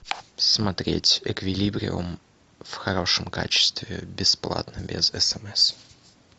смотреть эквилибриум в хорошем качестве бесплатно без смс